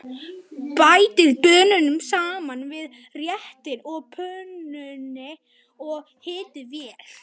Bætið baununum saman við réttinn á pönnunni og hitið vel.